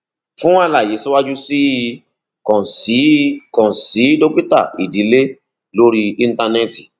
fún àlàyé síwájú sí i kàn sí i kàn sí dókítà ìdílé lórí íńtánẹẹtì